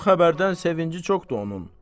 Bu xəbərdən sevinci çoxdur onun.